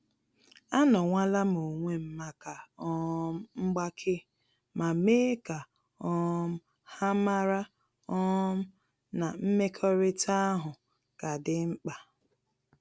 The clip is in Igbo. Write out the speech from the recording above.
Anowalam onwem maka um mgbake, ma mee ka um ha mara um na mmekọrịta ahụ ka dị mkpa